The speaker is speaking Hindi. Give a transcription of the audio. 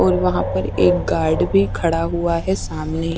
और वहां पर एक गार्ड भी खड़ा हुआ है सामने।